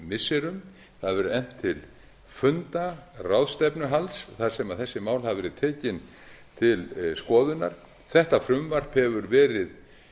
missirum það hefur verið efnt til funda ráðstefnuhalds þar sem þessi mál hafa verið tekin til skoðunar þetta frumvarp hefur verið